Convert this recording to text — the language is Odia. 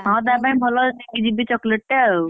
ହଁ ତା ପାଇଁ କି ଭଲ ନେଇକି ଯିବି chocolate ଟେ ଆଉ।